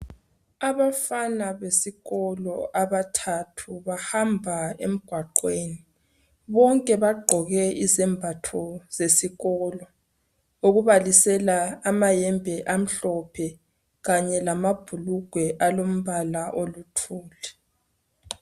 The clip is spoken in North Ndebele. Abafana besikolo abathathu bahamba emgwaqweni bonke bagqoke izembatho zesikolo okubalisela amayembe amhlophe kanye lamabhulugwe alombala oluthuli.